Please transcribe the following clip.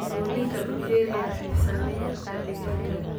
Dulinka bakteeriyada waxay saameyn kartaa digaagga.